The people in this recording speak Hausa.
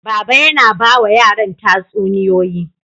Baba yana ba wa yaran tatsuniyoyi.